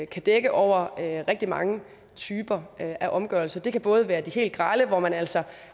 kan dække over rigtig mange typer af omgørelse det kan både være de helt grelle hvor man altså